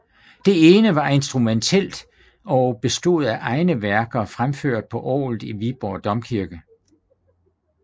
Det ene var instrumentalt og bestod af egne værker fremført på orglet i Viborg Domkirke